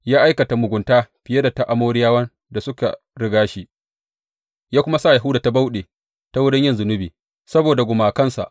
Ya aikata mugunta fiye da ta Amoriyawan da suka riga shi, ya kuma sa Yahuda ta bauɗe ta wurin yin zunubi saboda gumakansa.